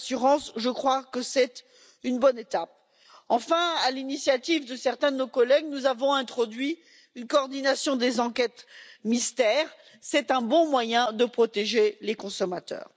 J'estime que c'est une bonne avancée. Enfin, à l'initiative de certains de nos collègues, nous avons introduit une coordination des enquêtes mystères, ce qui est un bon moyen de protéger les consommateurs.